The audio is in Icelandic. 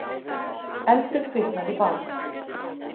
Eldur kviknaði í bát